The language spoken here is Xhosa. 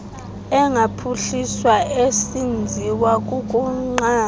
engaphuhliswa esenziwa kukunqaba